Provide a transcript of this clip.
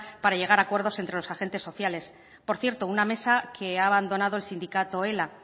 para llegar a acuerdos entre los agentes sociales por cierto una mesa que ha abandonado el sindicato ela